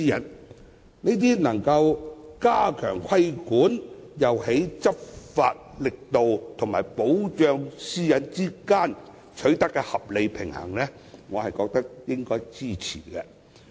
這些措施既能加強規管，也在執法力度和保障私隱之間取得合理平衡，我覺得應該予以支持。